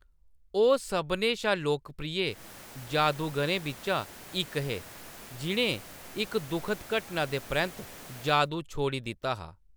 ओह्‌‌ सभनें शा लोकप्रिय जादूगरें बिच्चा इक हे जि`नें इक दुखद घटना दे परैंत्त जादू छोड़ी दित्ता हा।